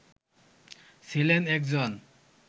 ছিলেন একজন